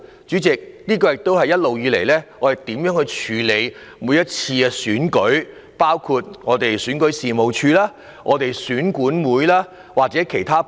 主席，這也是我們對於政府部門處理每次選舉的態度，包括選舉事務處、選舉管理委員會及其他部門。